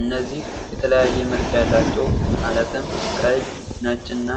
እነዚህ የተለያየ መልክ ያላቸው ማለትም ቀይ ፣ ነጭ እና